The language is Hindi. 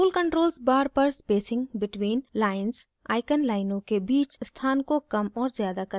tool controls bar पर spacing between lines icon लाइनों के बीच स्थान को कम और ज़्यादा करने में मदद करता है